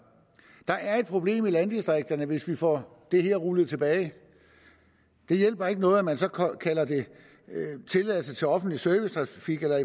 der er et problem i landdistrikterne hvis vi får det her rullet tilbage det hjælper ikke noget at man så kalder det tilladelse til offentlig servicetrafik eller